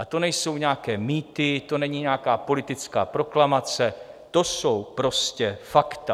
A to nejsou nějaké mýty, to není nějaká politická proklamace, to jsou prostě fakta.